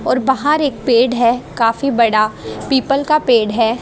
और बाहर एक पेड़ है काफी बड़ा पीपल का पेड़ है।